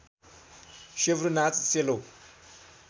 सेब्रु नाच सेलो